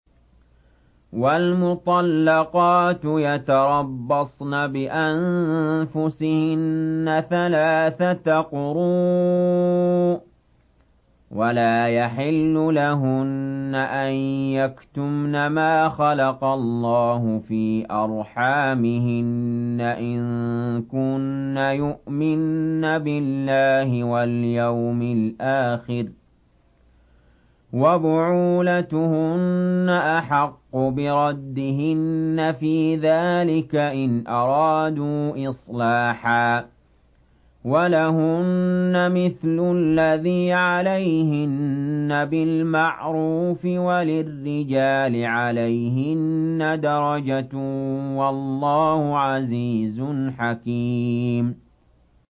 وَالْمُطَلَّقَاتُ يَتَرَبَّصْنَ بِأَنفُسِهِنَّ ثَلَاثَةَ قُرُوءٍ ۚ وَلَا يَحِلُّ لَهُنَّ أَن يَكْتُمْنَ مَا خَلَقَ اللَّهُ فِي أَرْحَامِهِنَّ إِن كُنَّ يُؤْمِنَّ بِاللَّهِ وَالْيَوْمِ الْآخِرِ ۚ وَبُعُولَتُهُنَّ أَحَقُّ بِرَدِّهِنَّ فِي ذَٰلِكَ إِنْ أَرَادُوا إِصْلَاحًا ۚ وَلَهُنَّ مِثْلُ الَّذِي عَلَيْهِنَّ بِالْمَعْرُوفِ ۚ وَلِلرِّجَالِ عَلَيْهِنَّ دَرَجَةٌ ۗ وَاللَّهُ عَزِيزٌ حَكِيمٌ